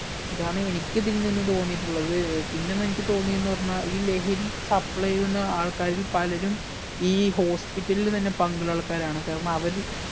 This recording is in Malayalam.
ഇതാണ് എനിക്ക് ഇതിൽ നിന്ന് തോന്നിയിട്ടുള്ളത് പിന്നെ എനിക്ക് തോന്നിന്നു പറഞ്ഞ ഈ ലഹരി supply ചെയ്യുന്ന ആൾക്കാരിൽ പലരും ഈ hospital ലിൽ തന്നെ പങ്കുള്ള ആൾക്കാരാണ് കാരണം അവര്